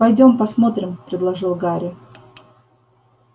пойдём посмотрим предложил гарри